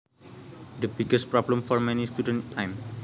The biggest problem for many students time